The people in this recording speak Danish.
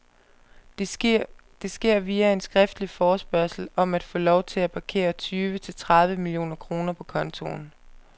Det sker via en skriftlig forespørgsel om at få lov til at parkere tyve til tredive millioner kroner på kontoen.